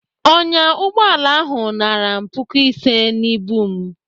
Ọnyá ụgbọala ahụ nara m puku ise n'ibu m.